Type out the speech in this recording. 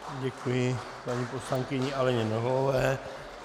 Děkuji paní poslankyni Aleně Nohavové.